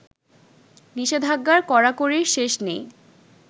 নিষেধাজ্ঞার কড়াকড়ির শেষ নেই